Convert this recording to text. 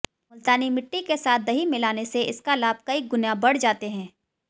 मुल्तानी मिट्टी के साथ दही मिलाने से इसका लाभ कई गुना बढ़ जाते हैं